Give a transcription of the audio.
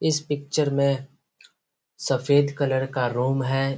इस पिक्चर में सफेद कलर का रूम है।